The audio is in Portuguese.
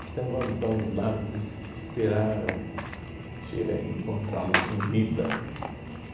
Então vamos vamos lá es esperar che é encontra-lo com vida.